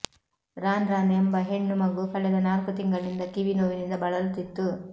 Ranran ಎಂಬ ಹೆಣ್ಣು ಮಗು ಕಳೆದ ನಾಲ್ಕು ತಿಂಗಳಿನಿಂದ ಕಿವಿ ನೋವಿನಿಂದ ಬಳಲುತ್ತಿತ್ತು